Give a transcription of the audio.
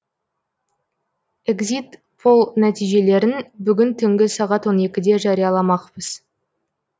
экзит пол нәтижелерін бүгін түнгі сағат он екіде жарияламақпыз